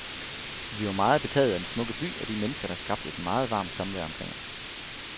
Vi var meget betaget af den smukke by og de mennesker, der skabte et meget varmt samvær omkring os.